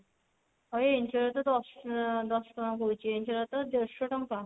ଆଉ ଏ ଇଞ୍ଚଡ ତ ଦଶ ଦଶ ଟଙ୍କା କହୁଛି ଇଞ୍ଚଡ ତ ଦଶ ଟଙ୍କା